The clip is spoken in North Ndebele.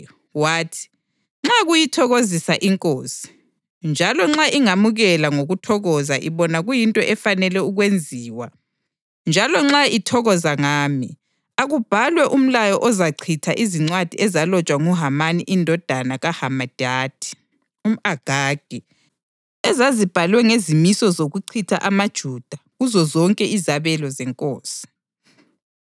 Wathi, “Nxa kuyithokozisa inkosi, njalo nxa ingamukela ngokuthokoza ibona kuyinto efanele ukwenziwa, njalo nxa ithokoza ngami, akubhalwe umlayo ozachitha izincwadi ezalotshwa nguHamani indodana kaHamedatha, umʼAgagi, ezazibhalwe ngezimiso zokuchitha amaJuda kuzozonke izabelo zenkosi.